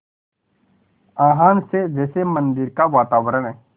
आह्वान से जैसे मंदिर का वातावरण